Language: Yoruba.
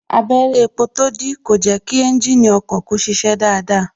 Abẹrẹ epo tó dí kò jẹ kí ẹ́ńjìnì ọkọ̀ kó ṣiṣẹ́ dáadáa